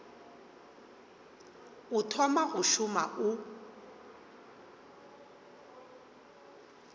o thoma go šoma o